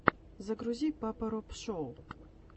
загрузи папа роб шоу